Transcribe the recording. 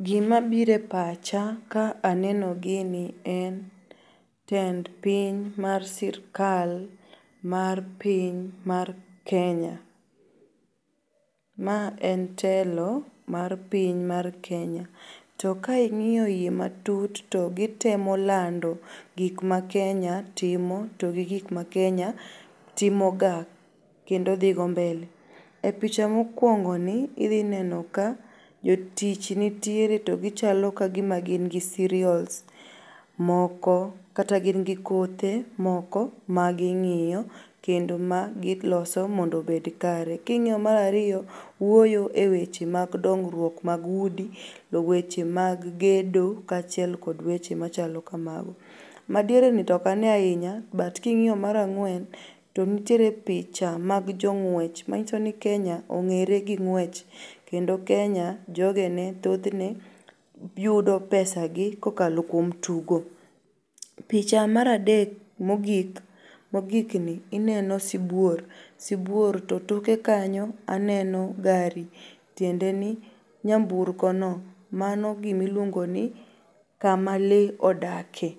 Gimabire pacha ka aneno gini en tend piny mar sirkal mar piny mar Kenya. Ma en telo mar piny mar Kenya. To ka ing'iyo iye matut to gitemo lando gik ma Kenya timo to gi gik ma Kenya timoga kendo dhigo mbele. E picha mokuongoni idhinenoka jotich nitiere to gichalo kagima gingi cereals moko kata gin gi kothe moko ma ging'io kendo magiloso mondo obed kare. King'io mar ariyo wuoyo e weche mag dongruok mag udi,e weche mag gedo kachiel kod weche machalo kamago. Madiereni tokane ainya but king'iyo mar ang'uen to nitiere picha mag jong'uech manyisoni Kenya ong'ere gi ng'wech Kendo Kenya jogene, thothne yudo pesa gi kokalo kuom tugo. Picha maradek mogik, mogikni ineno sibuor to toke kanyo aneno gari tiendeni nyamburkono mano gimiluongoni kama lee odake.